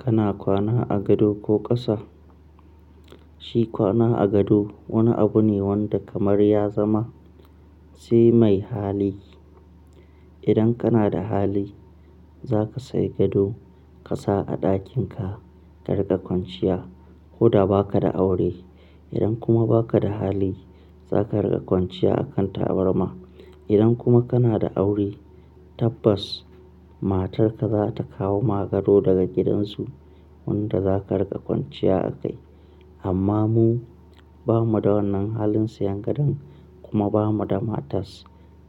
Kana kwana a gado ko ƙasa? Shi kwana a gado wani abu ne wanda kamar ya zama sai mai hali. Idan kana da hali zaka sayi gado ka sa a ɗakin ka ka riƙa kwanciya ko da baka da aure. Idan kuma baka da hali zaka riƙa kwanciya a kan tabarma. Idan kuma kana da aure tabbas matarka za ta kawo ma gado daga gidansu wanda za ka riƙa kwanciya a kai. Amma mu, ba mu da wannan halin siyan gado kuma ba mu da matas.